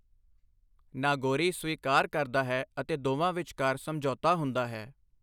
ਨਾਗੋਰੀ ਸਵੀਕਾਰ ਕਰਦਾ ਹੈ ਅਤੇ ਦੋਵਾਂ ਵਿਚਕਾਰ ਸਮਝੌਤਾ ਹੁੰਦਾ ਹੈ।